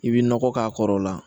I bɛ nɔgɔ k'a kɔrɔ o la